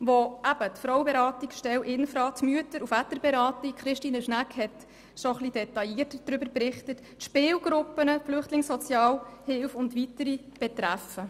Diese betreffen die Frauenberatungsstelle, die Mütter- und Väterberatung – Christine Schnegg hat bereits etwas detaillierter darüber berichtet –, die Spielgruppen, die Flüchtlingssozialhilfe und weitere mehr.